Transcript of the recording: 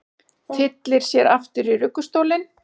Tyllir sér aftur í ruggustólinn.